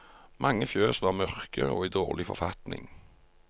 Mange fjøs var mørke og i dårlig forfatning.